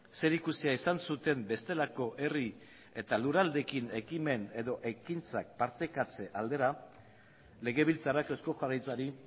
zerikusia izan zuten bestelako herri eta lurraldeekin ekimen edo ekintzak partekatze aldera legebiltzarrak eusko jaurlaritzari